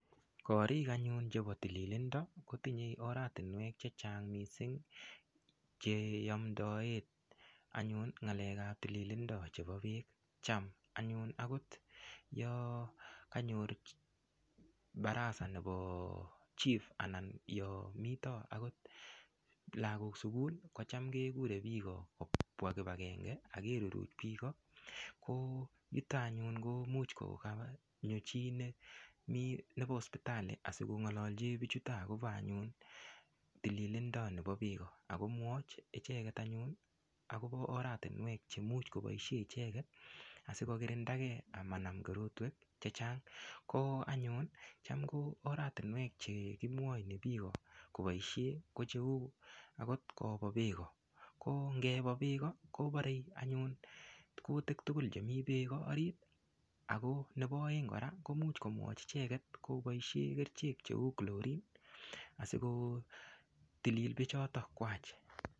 Korik anyun chebo tililindo kotinyei oratinwek chechang' mising' cheomdoe anyun ng'alekab tililindo chebo biik cham anyun akot yo kanyor baraza nebo chief anan yo mito akot lakok sukul ko cham kekurei biko kobwa kipakenge akeruruch biko ko yuto anyun ko much konyo chi nebo sipitali asikong'ololji bichuto akobo anyun tililindo nebo biko akomwoch icheget anyun akobo oratinwek chemuch koboishe icheget asikokirindagei amanam korotwek chechang' ko anyun cham ko oratinwek chekimwoni biko koboishe ko cheu akot kobo beko ko ngebo beko kobarei anyun kutik tugul chemi beko ako nebo oeng' kora komuch komwoch icheget koboishe kerichek cheu chlorine asikotilil bechotokwach